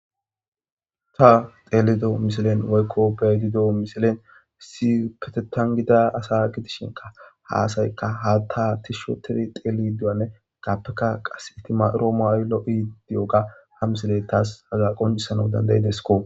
ta teelido misilen waykko bedido misilen si ketetangida asa gidishinka haasaykka ha ta tishsho teri xeeli duyanne gaappeka qas ittima roomo ayllo7i di7oga hamsile tas haga qoncisana dandayidesko